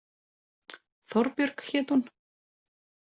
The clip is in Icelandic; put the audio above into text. Þorbjörg hét hún.